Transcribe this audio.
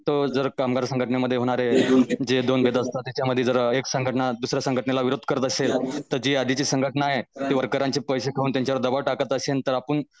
तो जर कामगार संघटनेमध्ये होणारे तिच्यामध्ये जरा एक संघटना दुसऱ्या संघटनेला विरोध करत असेल तर जी आधीची संघटन आहे वरकरांचे पैसे खाऊन त्यांच्या वर दबाव टाकत असेल तर आपन